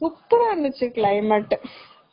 Super ரா இருந்துச்சு climate